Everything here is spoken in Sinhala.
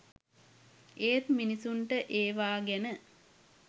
ඒත් මිනිසුන්ට ඒවා ගැන